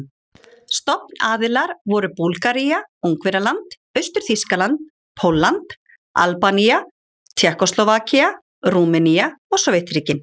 Stofnaðilar voru Búlgaría, Ungverjaland, Austur-Þýskaland, Pólland, Albanía, Tékkóslóvakía, Rúmenía og Sovétríkin.